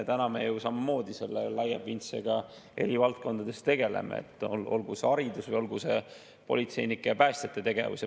Me ju samamoodi selle laia pintsliga tegutseme eri valdkondades, olgu see haridus või olgu see politseinike ja päästjate tegevus.